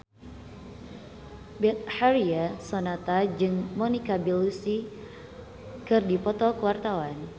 Betharia Sonata jeung Monica Belluci keur dipoto ku wartawan